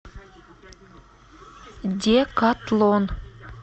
декатлон